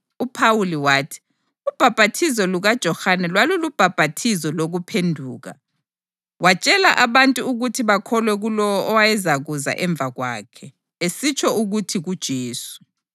UPhawuli wathi, “Ubhaphathizo lukaJohane lwalulubhaphathizo lokuphenduka. Watshela abantu ukuthi bakholwe kulowo owayezakuza ngemva kwakhe, esitsho ukuthi kuJesu.”